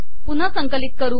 पुनहा संकिलत कर